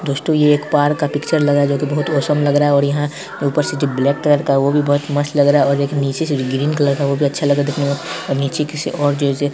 दोस्तों ये एक पार्क का पिक्चर लग रहा है जो बहुत ओसम लग रहा है और यहां ऊपर से जो ब्लैक कलर का है वो भी बहुत मस्त लग रहा है और एक नीचे से एक ग्रीन कलर का है वो भी अच्छा लग रहा है देखने में और नीचे किसी और जो--